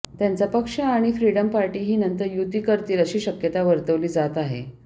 त्यांचा पक्ष आणि फ्रीडम पार्टी हे नंतर युती करतील अशी शक्यता वर्तवली जात आहे